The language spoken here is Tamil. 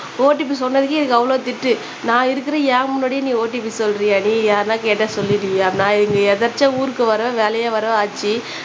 ஓடிபி சொன்னதுக்கு எனக்கு அவ்ளோ திட்டு நான் இருக்குறேன் என் முன்னாடியே நீ ஓடிபி சொல்றியாடி யாருனா கேட்டா சொல்லிருவியா நான் இங்க எதேர்ச்சையா ஊருக்கு வரவும் வேலையா வரவும் ஆச்சு